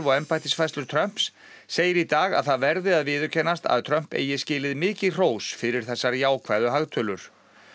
embættisfærslur Trumps segir í dag að það verði að viðurkennast að Trump eigi skilið mikið hrós fyrir þessar jákvæðu hagtölur